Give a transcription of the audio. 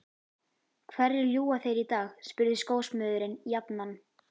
Hverju ljúga þeir í dag? spurði skósmiðurinn jafnan.